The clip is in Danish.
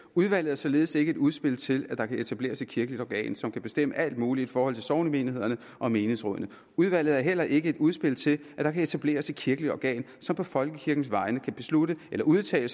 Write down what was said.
udvalget er således ikke et udspil til at der kan etableres et kirkeligt organ som kan bestemme alt muligt i forhold til sognemenighederne og menighedsrådene udvalget er heller ikke et udspil til at der kan etableres et kirkeligt organ som på folkekirkens vegne kan beslutte eller udtale